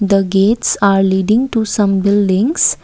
the gates are leading to some buildings.